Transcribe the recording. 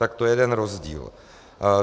Tak to je jeden rozdíl.